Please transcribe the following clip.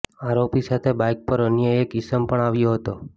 આરોપી સાથે બાઈક પર અન્ય એક ઈસમ પણ આવ્યો હતો